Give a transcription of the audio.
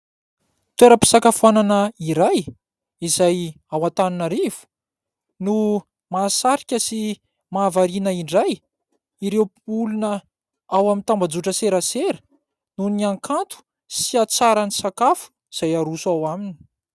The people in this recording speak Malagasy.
toeram-pisakafoanana iray izay ao Antananarivo no mahasarika sy mahavariana indray ireo olona ao amin'ny tambazotra serasera noho ny hakanto sy hatsaran'ny sakafo izay aroso ao aminy.